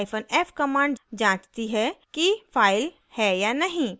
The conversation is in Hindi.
hyphen f command जाँचती है कि file है या नहीं